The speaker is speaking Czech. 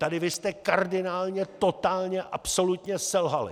Tady vy jste kardinálně, totálně, absolutně selhali.